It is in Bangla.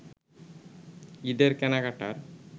ঈদের কেনাকাটার